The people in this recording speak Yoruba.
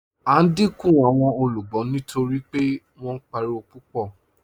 À n díńkù awọn olúgbọ́ nítorí pé wọn páriwo pupọ̀.